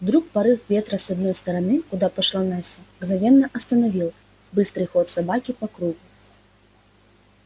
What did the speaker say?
вдруг порыв ветра с одной стороны куда пошла настя мгновенно остановил быстрый ход собаки по кругу